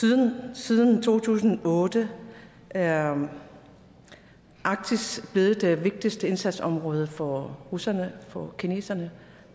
siden to tusind og otte er arktis blevet det vigtigste indsatsområde for russerne og for kineserne